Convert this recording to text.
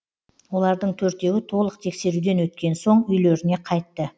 олардың төртеуі толық тексеруден өткен соң үйлеріне қайтты